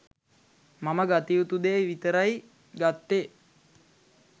මම ගත යුතු දේ විතරයි ගත්තෙ.